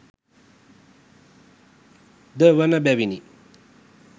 ද වන බැවිනි.